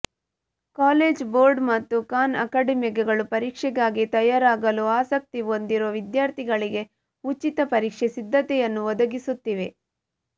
college Board ಮತ್ತು Khan ಅಕಾಡೆಮಿಗಳು ಪರೀಕ್ಷೆಗಾಗಿ ತಯಾರಾಗಲು ಆಸಕ್ತಿ ಹೊಂದಿರುವ ವಿದ್ಯಾರ್ಥಿಗಳಿಗೆ ಉಚಿತ ಪರೀಕ್ಷೆ ಸಿದ್ಧತೆಯನ್ನು ಒದಗಿಸುತ್ತಿವೆ